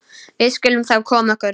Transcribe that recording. Við skulum þá koma okkur.